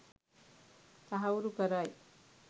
තහවුරු කරයි.